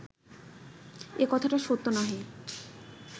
এ কথাটা সত্য নহে